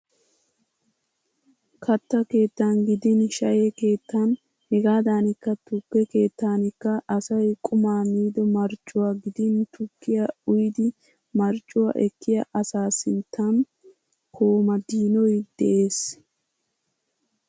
Katta keettan gidin shayye keettan hegaadankka tukke keettankka asay qumaa miido marccuwa gidin tukkiya uyidi marccuwa ekkiya asaa sinttan komadiinoy de'ees.